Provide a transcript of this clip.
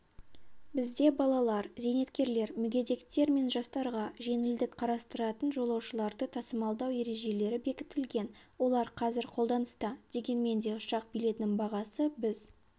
бізде балалар зейнеткерлер мүгедектер мен жастарға жеңілдік қарастыратын жолаушыларды тасымалдау ережелері бекітілген олар қазір қолданыста дегенмен де ұшақ билетінің бағасы біз